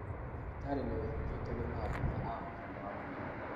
Thibitarĩ nĩũhingĩtwo nĩ maabitha a ũgima wa mwĩrĩ